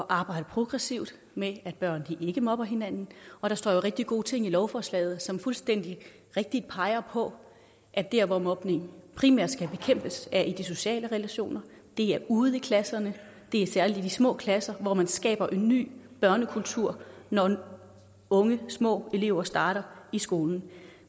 arbejde progressivt med at børn ikke mobber hinanden og der står jo rigtig gode ting i lovforslaget som fuldstændig rigtigt peger på at der hvor mobningen primært skal bekæmpes er i de sociale relationer det er ude ved klasserne det er særlig i de små klasser hvor man skaber en ny børnekultur når unge små elever starter i skolen